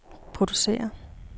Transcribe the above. producere